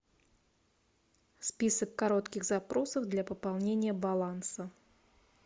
список коротких запросов для пополнения баланса